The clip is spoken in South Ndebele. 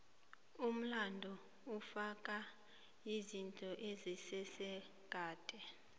umlando ufaka izinto ezenzeka kade